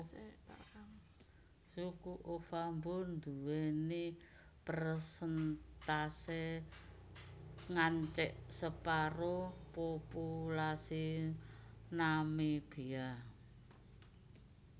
Suku Ovambo duwèni persèntase ngancik separo populasi Namibia